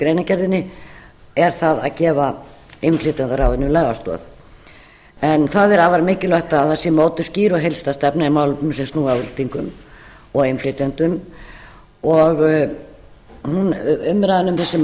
greinargerðinni að gefa innflytjendaráðinu lagastoð það er afar mikilvægt að það sé mótuð sé skýr og heildstæð stefna í málefnum sem snúa að útlendingum og innflytjendum umræðan um þessi